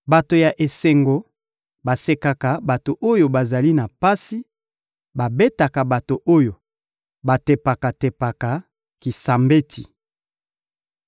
Bato ya esengo basekaka bato oyo bazali na pasi, babetaka bato oyo batepaka-tepaka kisambeti.